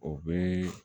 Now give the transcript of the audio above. O bɛ